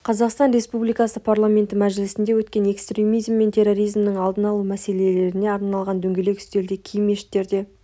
қазақстан республикасы парламенті мәжілісінде өткен экстремизм мен терроризмнің алдын алу мәселелеріне арналған дөңгелек үстелде кей мешіттерде